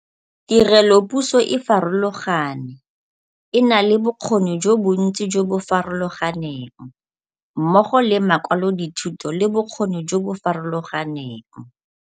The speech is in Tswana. Tirelopuso e farologane, e na le bokgoni jo bontsi jo bo farologaneng, mmogo le makwalodithuto le bokgoni jo bo farologaneng.